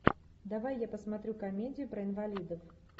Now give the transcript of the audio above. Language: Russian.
давай я посмотрю комедию про инвалидов